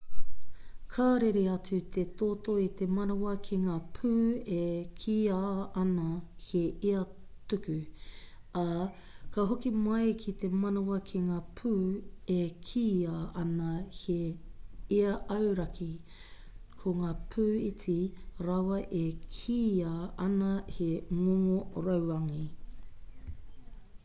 ka rere atu te toto i te manawa ki ngā pū e kīia ana he ia-tuku ā ka hoki mai ki te manawa ki ngā pū e kīia ana he ia-auraki ko ngā pū iti rawa e kīia ana he ngongo rauangi